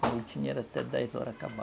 era até dez horas acabar.